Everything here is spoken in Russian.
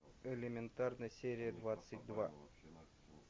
элементарно серия двадцать два